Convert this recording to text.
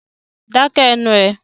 Dá ké ẹnu rẹ!